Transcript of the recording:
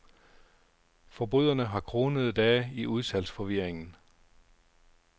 Forbryderne har kronede dage i udsalgsforvirringen.